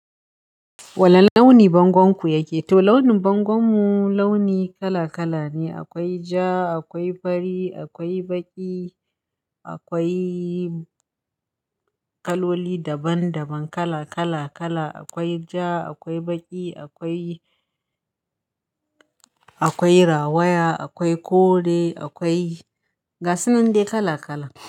Wani launi bangonku yake? To launin bangonmu launi kala kala ne. Akwai ja, akwai fari, akwai baƙi, akwai kaloli daban daban kala kala kala. Akwai ja, akwai baƙi, akwai, akwai rawaya, akwai kore, akwai gasu nan dai kala kala.